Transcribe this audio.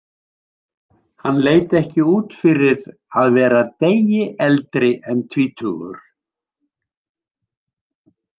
Hann leit ekki út fyrir að vera degi eldri en tvítugur.